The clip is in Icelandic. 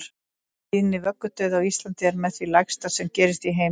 Tíðni vöggudauða á Íslandi er með því lægsta sem gerist í heiminum í dag.